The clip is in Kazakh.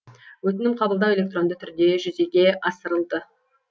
өтінім қабылдау электронды түрде жүзеге асырылды